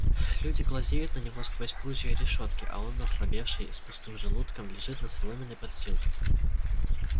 люди глазеют на него сквозь прутья решётки а он ослабевший с пустым желудком лежит на соломенной подстилке